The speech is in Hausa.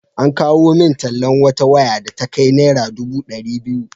An kawo min tallan wata waya da ta kai naira dubu ɗari biyu.